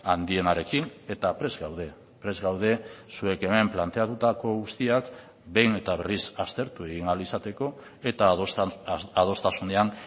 handienarekin eta prest gaude prest gaude zuek hemen planteatutako guztiak behin eta berriz aztertu egin ahal izateko eta adostasunean